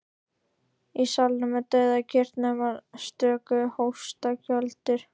Í salnum er dauðakyrrð nema stöku hóstakjöltur.